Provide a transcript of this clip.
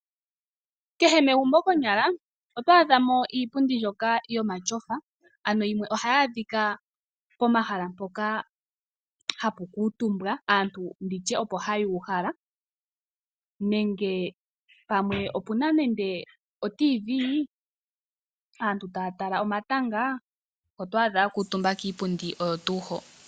Kehe megumbo konyala otwaadhamo iipundi yomatyofa ano yimwe ohayaadhika pomahala mpoka hapu kuutumbwa aantu nditye opo hayuuhala nenge pamwe opuna nande oTV aantu taa tala omatanga otwaadha yakantumba kiipundi oyo tuu ho.